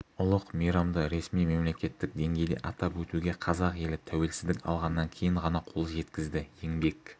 ұлық мейрамды ресми мемлекеттік деңгейде атап өтуге қазақ елі тәуелсіздік алғаннан кейін ғана қол жеткізді еңбек